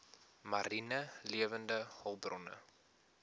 mariene lewende hulpbronne